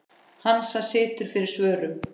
Hansa situr fyrir svörum.